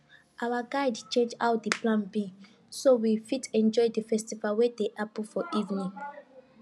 our guide change how the plan be so we fit enjoy the festival wey dey happen for evening